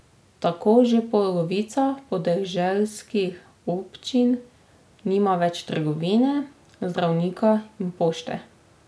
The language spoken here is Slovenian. Tako že polovica podeželskih občin nima več trgovine, zdravnika in pošte.